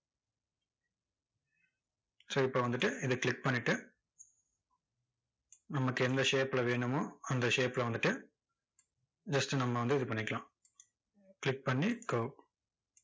so இப்போ வந்துட்டு, இதை click பண்ணிட்டு, நமக்கு எந்த shape ல வேணுமோ, அந்த shape ல வந்துட்டு just நம்ம வந்து இது பண்ணிக்கலாம் click பண்ணி curve